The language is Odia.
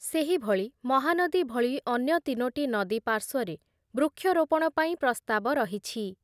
ସେହିଭଳି ମହାନଦୀ ଭଳି ଅନ୍ୟ ତିନୋଟି ନଦୀ ପାର୍ଶ୍ଵରେ ବୃକ୍ଷରୋପଣ ପାଇଁ ପ୍ରସ୍ତାବ ରହିଛି ।